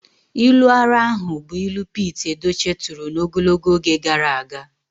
Ilu ara ahụ bụ ilu Pete Edochie turu n'ogologo oge gara aga.